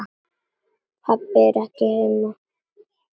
Pabbi er ekki heima.